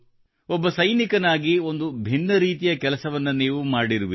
ಓರ್ವ ಸೈನಿಕನಾಗಿ ಒಂದು ಭಿನ್ನ ರೀತಿಯ ಕೆಲಸವನ್ನು ನೀವು ಮಾಡಿರುವಿರಿ